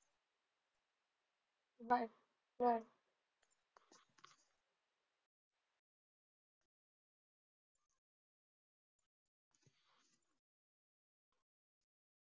Bye bye.